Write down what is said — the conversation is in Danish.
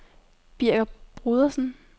Birger Brodersen